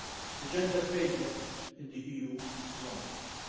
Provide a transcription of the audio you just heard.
The gender pay gap in the EU is one of these.